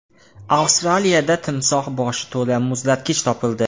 Avstraliyada timsoh boshi to‘la muzlatgich topildi.